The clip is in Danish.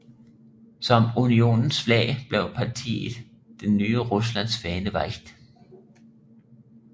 Som unionens flag blev partiet Det nye Ruslands fane valgt